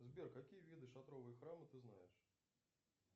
сбер какие виды шатровые храмы ты знаешь